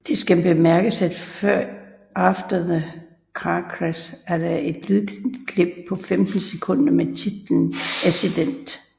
Det skal bemærkes at før After the Carcrash er der et lydklip på 15 sekunder med titlen Accident